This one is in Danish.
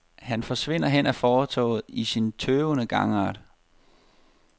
Han forsvinder hen ad fortovet i sin tøvende gangart.